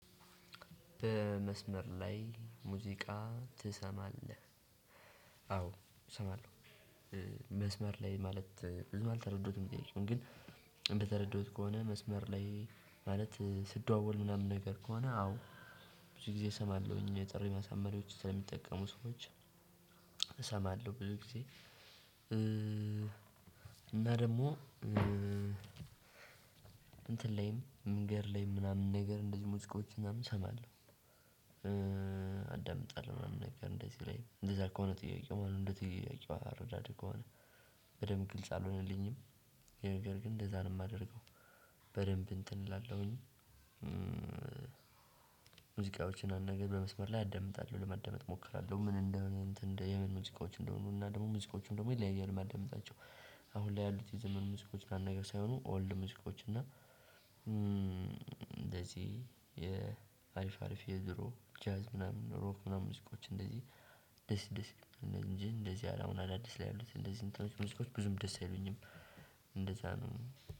በመስመር ላይ ሙዚቃ ትሰማለህ? አዎ እሰማለሁ። መስመር ላይ ማለት ብዙ አልተረዱትም ግን በተረዳሁት ከሆነ መስመር ላይ ማለት ስደዋወል ምናምን ነገር ከሆነ አዎ። ብዙ ጊዜ እሰማለሁኝ የጥሪ ማሳመሪያዎች ስለሚጠቀሙ ሰዎች። እሰማለሁ ብዙ ጊዜ። እና ደግሞ እንትን ላይም መንገድ ላይም ምናምን ነገር እንደዚህ ሙዚቃዎችን ምናምን እሰማለሁ። አዳምጣለሁ ምናምን ነገር እንደዚህ ላይ እንደዛ ከሆነ ጥያቄው ማለት እንደዚህ ጥያቄው አረዳድህ ከሆነ በደንብ ግልጽ አልሆነልኝም። ይሄን ነገር ግን እንደዛ ነው የማደርገው። በደንብ እንትን እላለሁኝ። ሙዚቃዎችን አንድ ነገር በመስመር ላይ አዳምጣለሁ ለማዳመጥ እሞክራለሁ ምን እንደሆነ የምን ሙዚቃዎች እንደሆኑ እና ደግሞ ሙዚቃዎችም ደግሞ ይለያያል የማዳምጣቸው። አሁን ላይ ያሉት የዘመኑ ሙዚቃዎች ምናምን ነገር ሳይሆኑ ኦልድ ሙዚቃዎች እና። እንደዚህ የአሪፍ አሪፍ የድሮ ጃዝ ምናምን ሮክ ምናምን ሙዚቃዎች እንደዚህ ደስ ደስ እንደዚህ አሁን አዳዲስ ላይ ያሉት እንደዚህ እንትኖች ብዙም ደስ አይሉኝም። እንደዛ ነው።